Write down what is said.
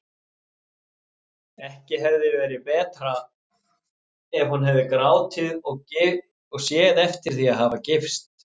Ekki hefði verið betra ef hún hefði grátið og séð eftir því að hafa gifst.